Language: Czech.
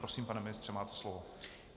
Prosím, pane ministře, máte slovo.